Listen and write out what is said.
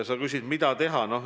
Sa küsid, mida teha.